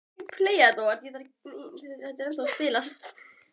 Og ekki eru þeir betri sem stjórna ferðinni fyrir þrælana.